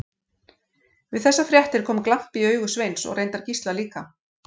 Við þessar fréttir kom glampi í augu Sveins og reyndar Gísla líka.